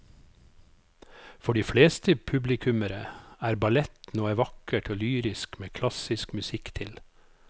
For de fleste publikummere er ballett noe vakkert og lyrisk med klassisk musikk til.